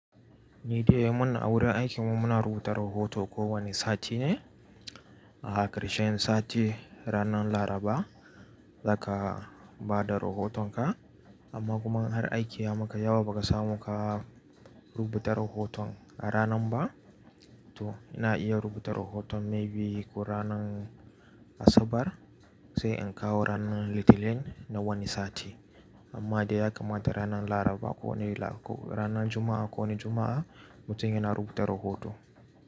Ni dai mun a wurin aikin mu muna rubuta rahoto ko wane sati ne. A karshen sati ranar Laraba za ka ba da rahotonka. Amma kuma in har aiki ya maka yawa ba ka samu ka rubuta rahoton a ranar ba, to na iya rubuta rahoton maybe ko ranar Asabar sai in kawo ranar Litinin na wani sati. Amma dai ya kamata ranar Laraba ko ne la ranar Juma'a ko wani Juma'a mutum yana rubuta rahoto.